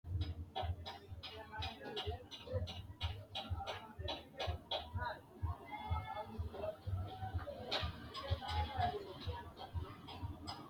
Maxaafa nabbambanni marre uurrinoonni bayicho badate wole kaajja- woraqata giddo worate ikkinnina maxaafu qoola era dihasiissanno Maxaafa nabbambanni marre uurrinoonni.